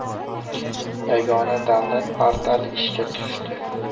Yagona davlat portali ishga tushdi.